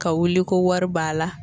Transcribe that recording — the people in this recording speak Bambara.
Ka wuli ko wari b'a la